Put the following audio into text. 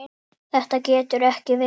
Þetta getur ekki verið.